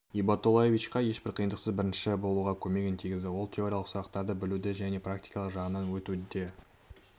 ибатоллаевичқа ешбір қиындықсыз бірінші болуға көмегін тигізді ол теориялық сұрақтарды білуде және практикалық жағын өтуде